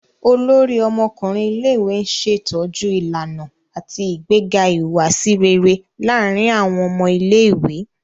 Olórí ọmọkùnrin ilé-ìwé n ṣetọju ìlànà ati ìgbéga ìhùwàsí réré láàrin awọn ọmọ ilé-ìwé